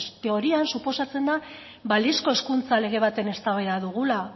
teorian suposatzen da balizko hezkuntza lege baten eztabaida dugula